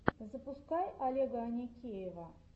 запускай олега аникеева